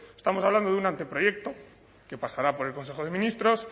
estamos hablando de un anteproyecto que pasará por el consejo de ministros